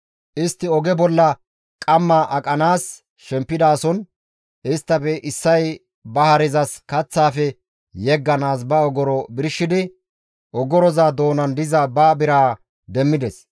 Istti oge bolla qamma aqanaas shempidason isttafe issay ba harezas kaththaafe yegganaas ba ogoro birshidi, ogoroza doonan diza ba biraa demmides.